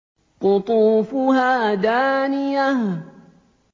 قُطُوفُهَا دَانِيَةٌ